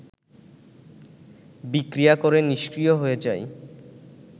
বিক্রিয়া করে নিষ্ক্রিয় হয়ে যায়